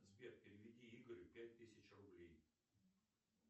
сбер переведи игорю пять тысяч рублей